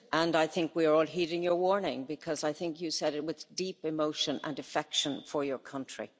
I think we are all heeding your warning, because I think you said it with deep emotion and affection for your country.